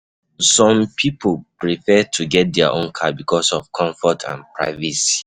Some pipo prefer to get their own car because of comfort and privacy